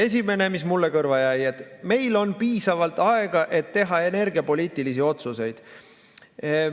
Esimene, mis mulle kõrva jäi, oli see, et meil on piisavalt aega, et teha energiapoliitilisi otsuseid.